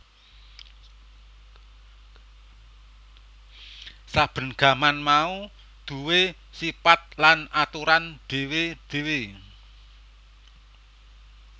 Saben gaman mau duwé sipat lan aturan dhéwé dhéwé